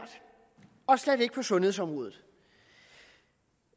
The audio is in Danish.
slet ikke på sundhedsområdet